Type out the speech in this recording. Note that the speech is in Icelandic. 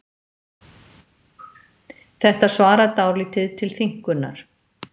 Þetta svarar dálítið til þynnkunnar.